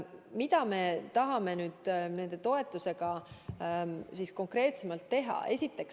Mida me tahame selle toetusega siis konkreetsemalt teha?